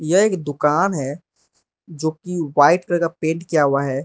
यह एक दुकान है जो कि व्हाइट कलर का पेंट किया हुआ है।